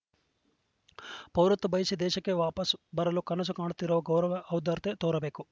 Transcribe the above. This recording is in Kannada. ಪೌರತ ಬಯಸಿ ದೇಶಕ್ಕೆ ವಾಪಸ್‌ ಬರಲು ಕನಸುಕಾಣುತ್ತಿರುವ ಗೌರವ ಔದಾರ್ಯತೆ ತೋರಬೇಕು